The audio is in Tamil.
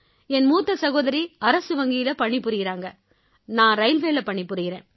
என் மூத்த சகோதரி அரசு வங்கியில பணி புரியறாங்க நான் ரயில்வேயில பணி புரியறேன்